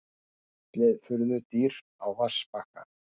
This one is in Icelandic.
Fjallið furðudýr á vatnsbakka.